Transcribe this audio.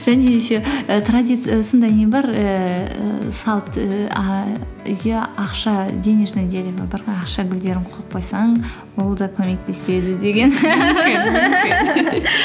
және де еще і транзит і сондай не бар ііі салт і а үйі ақша денежное дерево бар ғой ақша гүлдерін қойып қойсаң ол зат көмектеседі деген